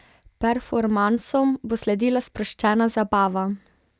Performansom bo sledila sproščena zabava.